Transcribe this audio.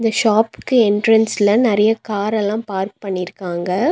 ஷாப்க்கு என்ட்ரன்ஸ்ல நறையா கார் எல்லா பார்க் பண்ணிருக்காங்க.